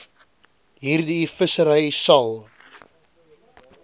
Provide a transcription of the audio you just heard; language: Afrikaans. hierdie vissery sal